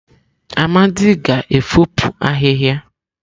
Amadi ga-efopụ ahịhịa.